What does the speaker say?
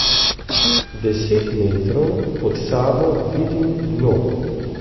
Deset metrov pod sabo vidim dno.